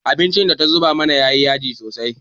Abincin da ta zuba mana ya yi yaji sosai.